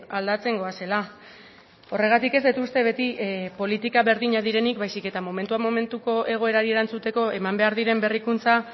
aldatzen goazela horregatik ez dut uste beti politika berdinak direnik baizik eta momentuan momentuko egoerari erantzuteko eman behar diren berrikuntza